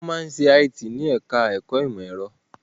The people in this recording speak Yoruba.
Wọ́n máa ń ṣe IT ní ẹ̀ká ẹ̀kọ́ ìmọ̀ ẹ̀rọ